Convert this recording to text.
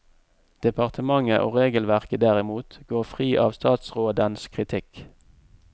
Departementet og regelverket derimot går fri av statsrådens kritikk.